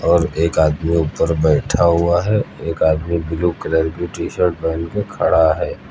और एक आदमी ऊपर बैठा हुआ है एक आदमी ब्लू कलर की टी शर्ट पहन के खड़ा है।